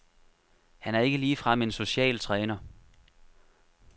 Han er ikke ligefrem en social træner.